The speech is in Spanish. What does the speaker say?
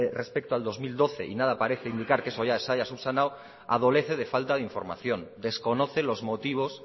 respecto al dos mil doce y nada parece indicar que eso ya se haya subsanado adolece de falta de información desconoce los motivos